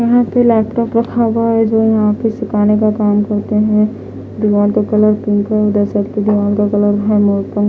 यहाँ पे लैपटॉप रखा हुआ है जो यहाँ पे सिखाने का काम करते है दिवार का --